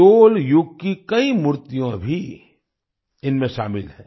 चोल युग की कई मूर्तियाँ भी इनमें शामिल हैं